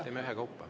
Teeme ühekaupa.